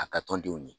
A ka tɔn denw de